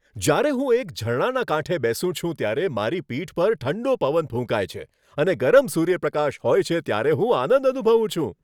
જ્યારે હું એક ઝરણાના કાંઠે બેસું છું, ત્યારે મારી પીઠ પર ઠંડો પવન ફૂંકાય છે અને ગરમ સૂર્યપ્રકાશ હોય છે ત્યારે હું આનંદ અનુભવું છું.